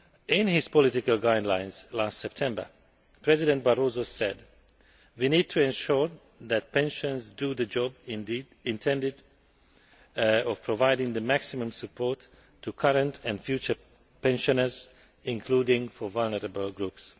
In his political guidelines last September, President Barroso said we need to ensure that pensions do the job intended to provide the maximum support to current and future pensioners, including for vulnerable groups'.